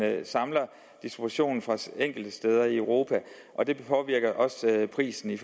samler distributionen enkelte steder i europa og det påvirker også prisen i